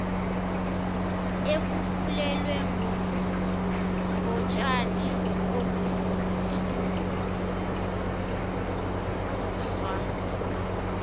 efulelwe ngotshani okuthuquzwa